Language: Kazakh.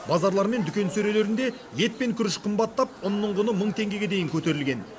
базарлар мен дүкен сөрелерінде ет пен күріш қымбаттап ұнның құны мың теңгеге дейін көтерілген